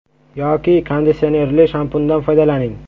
Yoki konditsionerli shampundan foydalaning.